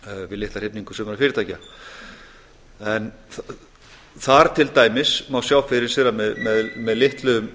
við litla hrifningu sumra fyrirtækja þar til dæmis má sjá fyrir sér að með litlum